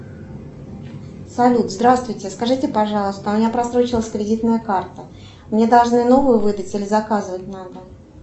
салют здравствуйте скажите пожалуйста у меня просрочилась кредитная карта мне должны новую выдать или заказывать надо